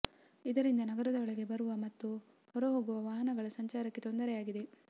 ಇದರಿಂದ ನಗರದೊಳಗೆ ಬರುವ ಮತ್ತು ಹೊರ ಹೋಗುವ ವಾಹನಗಳ ಸಂಚಾರಕ್ಕೆ ತೊಂದರೆ ಆಗಿದೆ